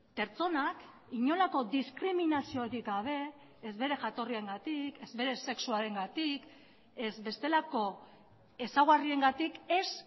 pertsonak inolako diskriminaziorik gabe ez bere jatorriengatik ez bere sexuarengatik ez bestelako ezaugarriengatik ez